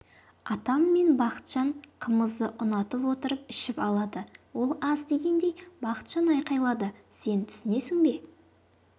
атам мен бақытжан қымызды ұнатып отырып ішіп алады ол аз дегендей бақытжан айқайлады сен түсінесің бе